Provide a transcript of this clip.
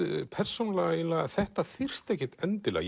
persónulega þetta þyrfti ekkert endilega